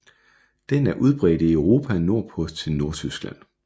Den er udbredt i Europa nordpå til Nordtyskland